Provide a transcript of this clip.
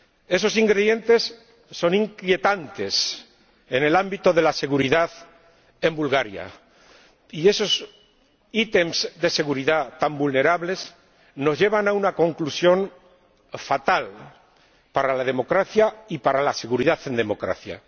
Esos ingredientes son inquietantes en el ámbito de la seguridad en Bulgaria y esos ítems de seguridad tan vulnerables nos llevan a una conclusión fatal para la democracia y para la seguridad en democracia.